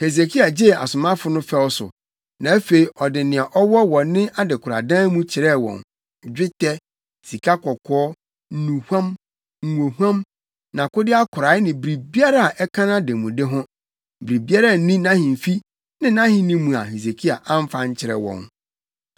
Hesekia gyee asomafo no fɛw so, na afei ɔde nea ɔwɔ wɔ ne adekoradan mu kyerɛɛ wɔn; dwetɛ, sikakɔkɔɔ, nnuhuam, ngohuam, nʼakode akorae ne biribiara a ɛka nʼademude ho. Biribiara nni nʼahemfi ne nʼahenni mu a Hesekia amfa ankyerɛ wɔn.